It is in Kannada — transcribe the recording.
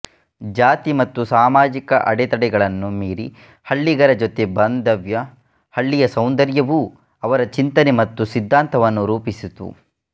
ಜಾತಿ ಮತ್ತು ಸಾಮಾಜಿಕ ಅಡೆತಡೆಗಳನ್ನು ಮೀರಿ ಹಳ್ಳಿಗರ ಜೊತೆ ಬಂದವ್ಯ ಹಳ್ಳಿಯ ಸೌಂದರ್ಯವೂ ಅವರ ಚಿಂತನೆ ಮತ್ತು ಸಿದ್ಧಾಂತವನ್ನು ರೂಪಿಸಿತು